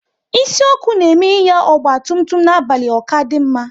Isi ọkụ na eme Ịnya ọgba tum tum n'abalị ọ kadị mma